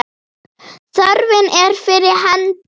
Þörfin er fyrir hendi.